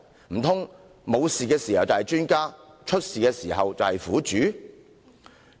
難道沒事發生時是專家，出事時就是苦主？